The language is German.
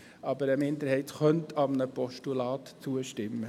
Aber eine Minderheit könnte einem Postulat zustimmen.